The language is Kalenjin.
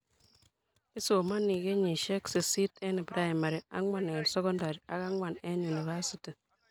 Isomonii kenyisiek sisit eng primary ,ang'wan eng secondary ak ang'wan eng university